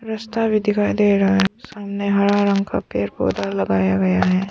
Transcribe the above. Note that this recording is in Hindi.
रास्ता भी दिखाई दे रहा है सामने हरा रंग का पेड़ पौधा लगाया गया है।